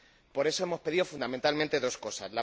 Por eso hemos pedido, fundamentalmente, dos cosas.